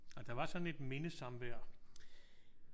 Og der var sådan et mindesamvær?